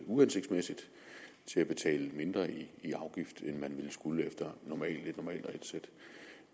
uhensigtsmæssigt til at betale mindre i afgift end man ville skulle efter